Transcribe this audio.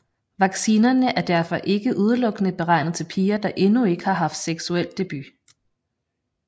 Vaccinerne er derfor ikke udelukkende beregnet til piger der endnu ikke har haft seksuel debut